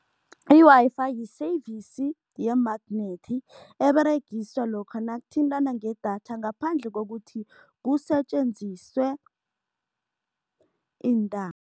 I-Wi-Fi yi-service ye-magnet eberegiswa lokha nokuthintana ngedatha ngaphandle kokuthi kusetjenziswe